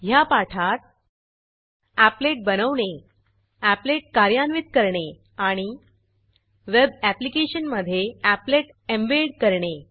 ह्या पाठात एपलेट बनवणे एपलेट कार्यान्वित करणे आणि वेब ऍप्लिकेशनमधे एपलेट एम्बेड करणे